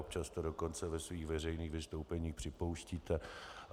Občas to dokonce ve svých veřejných vystoupeních připouštíte.